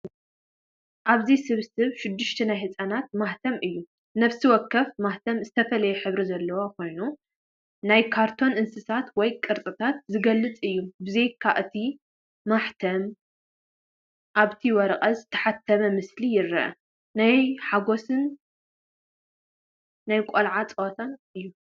ኣብዚ ስብስብ ሽዱሽተ ናይ ህጻናት ማሕተም እዩ። ነፍሲ ወከፍ ማሕተም ዝተፈላለየ ሕብሪ ዘለዎ ኮይኑ ናይ ካርቱን እንስሳታት ወይ ቅርጽታት ዝገልጽ እዩ። ብዘይካ እቲ ማሕተም፡ ኣብቲ ወረቐት ዝተሓትመ ምስልታት ይርአ። ናይ ሓጎስን ናይ ቆልዓ ጸወታን እዩ።